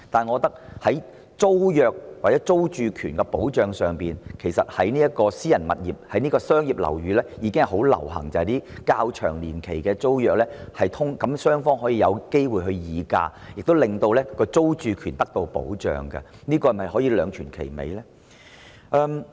我認為在租約或租住權的保障上，其實私人商業樓宇已普遍訂立年期較長的租約，讓雙方有機會議價，亦令租客的租住權得到保障，這是否兩全其美的做法呢？